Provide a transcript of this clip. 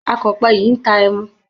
Akọ̀pẹ yìí ń ta ẹmu.